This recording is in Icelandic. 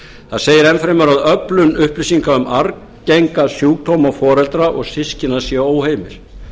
það segir enn fremur að öflun upplýsinga um arfgenga sjúkdóma og systkina sé óheimil